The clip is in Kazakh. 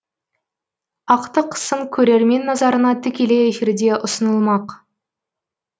ақтық сын көрермен назарына тікелей эфирде ұсынылмақ